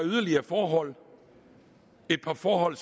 forhold et par forhold